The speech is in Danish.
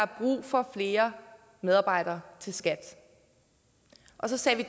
brug for flere medarbejdere til skat og så satte